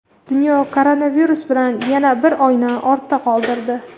Dunyo koronavirus bilan yana bir oyni ortda qoldirdi.